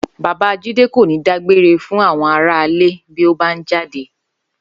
Bàbá Jídé kò ní dágbére fún àwo̩n aráalé bíó bá ń jáde